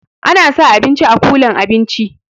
Ana sa abinci a kulan abinci